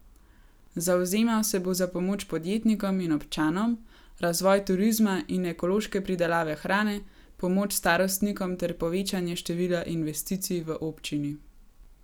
Zavzemal se bo za pomoč podjetnikom in občanom, razvoj turizma in ekološke pridelave hrane, pomoč starostnikom ter povečanje števila investicij v občini.